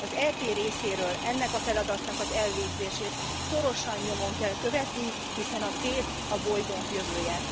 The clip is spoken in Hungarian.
Az EP részéről ennek a feladatnak az elvégzését szorosan nyomon kell követni, hiszen a tét a bolygónk jövője.